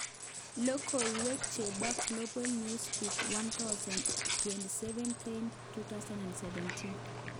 Logoiwek chebo Glabal Newsbeat 1000 27/11/2017.